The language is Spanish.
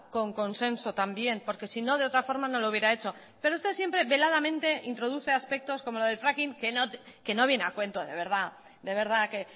con consenso también porque sino de otra forma no lo hubiera hecho pero usted siempre veladamente introduce aspectos como lo del fracking que no viene a cuento de verdad de verdad que